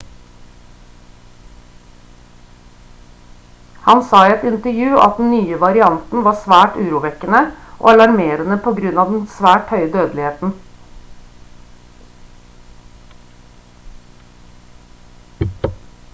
han sa i et intervju at den nye varianten var «svært urovekkende og alarmerende på grunn av den svært høye dødeligheten»